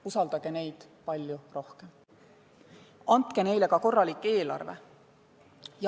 Usaldage neid palju rohkem ja andke neile ka korralik eelarve.